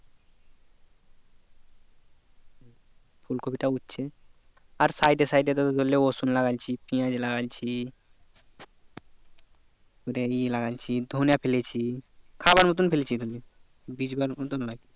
ফুলকপি টা উঠছে আর side এ side এ ধরলে রসুন লাগাইছি পিঁয়াজ লাগাইছি ই লাগাইছি ধনে ফেলেছি খাবার মতো ফেলেছি ধনে বিছবার মতো নয়